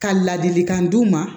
Ka ladilikan d'u ma